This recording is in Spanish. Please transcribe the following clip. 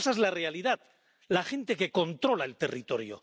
Esa es la realidad la gente que controla el territorio.